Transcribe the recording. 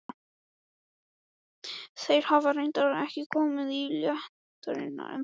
Þeir hafa reyndar ekki komið í leitirnar ennþá.